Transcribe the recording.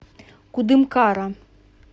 кудымкара